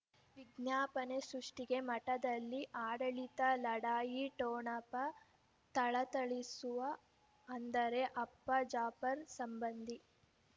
ವಿಜ್ಞಾಪನೆ ಸೃಷ್ಟಿಗೆ ಮಠದಲ್ಲಿ ಆಡಳಿತ ಲಢಾಯಿ ಠೊಣಪ ಥಳಥಳಿಸುವ ಅಂದರೆ ಅಪ್ಪ ಜಾಫರ್ ಸಂಬಂಧಿ